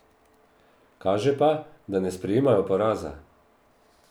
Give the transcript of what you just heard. Kaže pa, da ne sprejemajo poraza.